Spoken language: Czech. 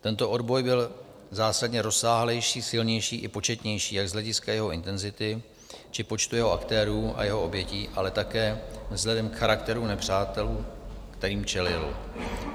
Tento odboj byl zásadně rozsáhlejší, silnější i početnější jak z hlediska jeho intenzity, či počtu jeho aktérů a jeho obětí, ale také vzhledem k charakteru nepřátel, kterým čelil.